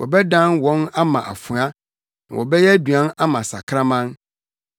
Wɔbɛdan wɔn ama afoa na wɔbɛyɛ aduan ama sakraman.